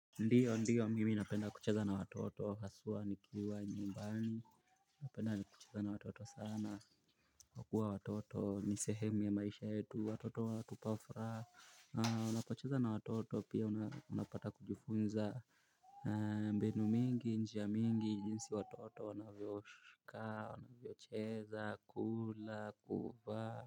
Ndiyo ndiyo mimi napenda kucheza na watoto haswa nikiwa nyumbani napenda kucheza na watoto sana kwa kua watoto ni sehemu ya maisha yetu watoto watupa furaha unapocheza na watoto pia unapata kujifunza mbinu mingi njia mingi jinsi watoto wanavyoshuka wanavyocheza kula kuvaa.